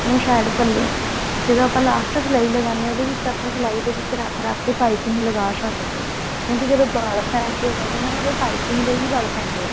side ਪੱਲੇ ਜਦੋਂ ਆਪਾਂ last ਸਾਲਾਈ ਲਗਾਉਂਦੇ ਹਾਂ ਤਾਂ ਆਪਾਂ ਸਲਾਈ ਦੇ ਵਿੱਚ ਰੱਖ ਰੱਖ ਕੇ ਪਾਈਪਿੰਨ ਲਗਾ ਸਕਦੇ ਹਾਂ ਕਹਿੰਦੇ ਜਦੋਂ ਵਲ ਪੈਂਦੇ ਆ ਨਾ ਉਹਦੇ ਪਾਈਪਿੰਨ ਦੇ ਹੀ ਵਲ ਪੈਂਦੇ ਆ